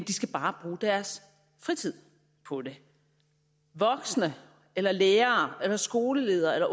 de skal bare bruge deres fritid på det voksne eller lærere eller skoleledere